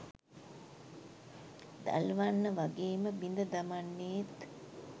දල්වන්න වගේම බිඳ දමන්නේත්